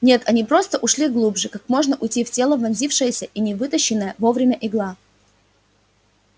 нет они просто ушли глубже как может уйти в тело вонзившаяся и не вытащенная вовремя игла